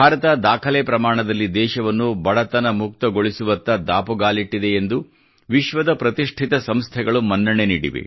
ಭಾರತ ದಾಖಲೆ ಪ್ರಮಾಣದಲ್ಲಿ ದೇಶವನ್ನು ಬಡತನ ಮುಕ್ತಗೊಳಿಸುವತ್ತ ದಾಪುಗಾಲಿಟ್ಟಿದೆ ಎಂದು ವಿಶ್ವದ ಪ್ರತಿಷ್ಠಿತ ಸಂಸ್ಥೆಗಳು ಮನ್ನಣೆ ನೀಡಿವೆ